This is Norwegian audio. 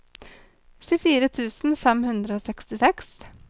tjuefire tusen fem hundre og sekstiseks